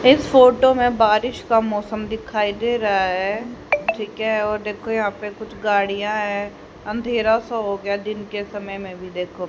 इस फोटो में बारिश का मौसम दिखाई दे रहा है ठीक है और देखो यहां पे कुछ गाड़ियां हैं अंधेरा सा हो गया है दिन के समय में भी देखो--